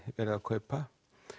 verið að kaupa